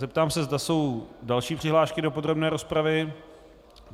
Zeptám se, zda jsou další přihlášky do podrobné rozpravy.